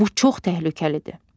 Bu çox təhlükəlidir.